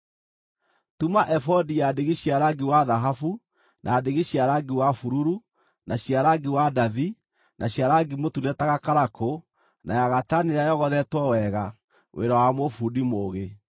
“Tuma ebodi ya ndigi cia rangi wa thahabu na ndigi cia rangi wa bururu, na cia rangi wa ndathi na cia rangi mũtune ta gakarakũ na ya gatani ĩrĩa yogothetwo wega, wĩra wa mũbundi mũũgĩ.